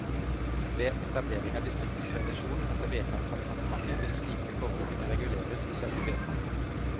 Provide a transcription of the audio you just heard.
Ved etablering av distriktsrevisjon etter vedtak fra departementet, vil slike forhold kunne reguleres i selve vedtaket.